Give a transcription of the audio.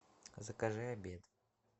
закажи обед